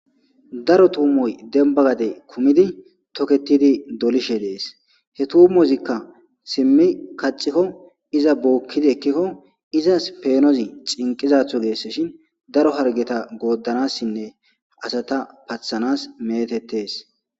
daro tuumoy dembagade kumidi toketidi dolishe dees he tuumozikka simmi kaccikko iza bookkidi ekkikko izas peenozi cinqizatho geese shin daro hargeta goodanassinne asata pathanas metettes